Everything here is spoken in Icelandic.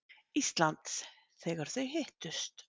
Íslands, þegar þau hittust.